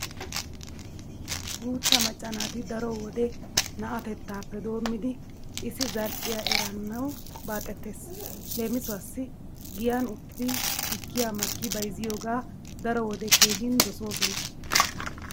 Guutta macca naati daro wode na'atettaappe doommidi issizal"iya eranawu baaxetees. Leemisuwawu giyan uttidi tukkiya makki bayzziyogaa daro wode keehin dosoosona.